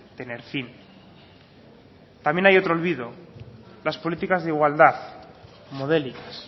tener fin también hay otro olvido las políticas de igualdad modélicas